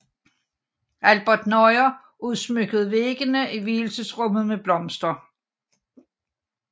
Albert Nauer udsmykkede væggene i vielsesrummet med blomster